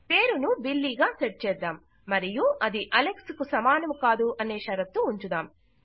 పేరును బిల్లీ గా సెట్ చేద్దాం మరియు అది అలెక్స్ కు సమానము కాదు అనే షరతు ఉంచుదాం